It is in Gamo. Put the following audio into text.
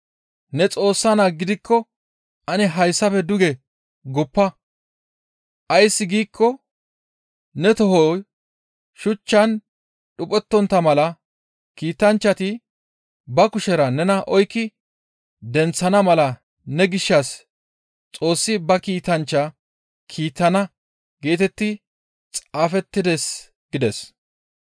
«Ne Xoossa Naa gidikko ane hayssafe duge guppa; ays giikko « ‹Ne tohoy shuchchan dhuphettontta mala kiitanchchati ba kushera nena oykki denththana mala ne gishshas Xoossi ba kiitanchcha kiittana› geetetti xaafettides» gides.